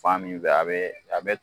Fa min bɛ a bɛɛ a bɛ